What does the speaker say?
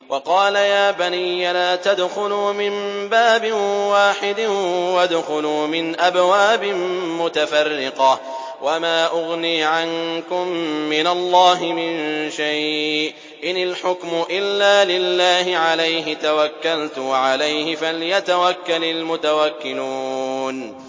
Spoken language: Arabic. وَقَالَ يَا بَنِيَّ لَا تَدْخُلُوا مِن بَابٍ وَاحِدٍ وَادْخُلُوا مِنْ أَبْوَابٍ مُّتَفَرِّقَةٍ ۖ وَمَا أُغْنِي عَنكُم مِّنَ اللَّهِ مِن شَيْءٍ ۖ إِنِ الْحُكْمُ إِلَّا لِلَّهِ ۖ عَلَيْهِ تَوَكَّلْتُ ۖ وَعَلَيْهِ فَلْيَتَوَكَّلِ الْمُتَوَكِّلُونَ